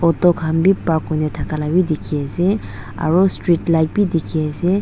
auto khan bi park kurina taka la diki asae aro streetlight bi diki asae.